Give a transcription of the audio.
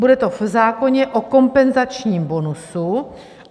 Bude to v zákoně o kompenzačním bonusu.